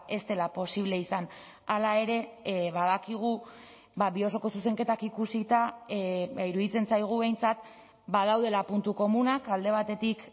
ez dela posible izan hala ere badakigu bi osoko zuzenketak ikusita iruditzen zaigu behintzat badaudela puntu komunak alde batetik